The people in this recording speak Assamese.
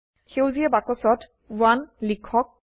সেউজীয়া বাক্সত 1 লিখক